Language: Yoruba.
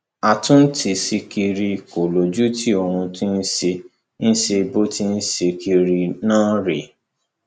àtúntí ṣìkìrì kò lójútì ohun tó sì ṣe ń ṣe bó ti ń ṣe ń kiri náà rèé